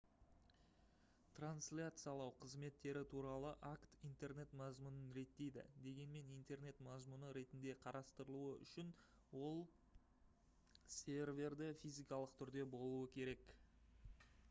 трансляциялау қызметтері туралы акт интернет мазмұнын реттейді дегенмен интернет мазмұны ретінде қарастырылуы үішн ол серверде физикалық түрде болуы керек